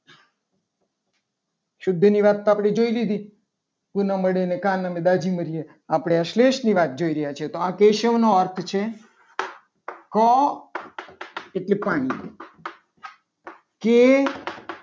શુદ્ધ ની વાત તો આપણે જોઈ લીધી તું ના મળે ને કાન અમે દાજી મર્યા આપણી આ શ્લેષની વાત જોઈ રહ્યા છે. તો આ કેશવ નો અર્થ છે. કા એટલે કર્ણ કે